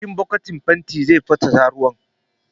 A cikin bokitin fenti zai tafasa ruwa